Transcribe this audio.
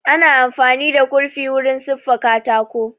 Ana amfani da kurfi wurin siffa katako